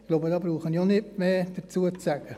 Ich glaube, dazu brauche ich auch nicht mehr zu sagen.